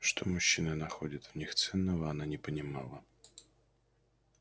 что мужчины находят в них ценного она не понимала